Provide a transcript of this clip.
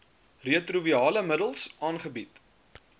retrovirale middels aangebied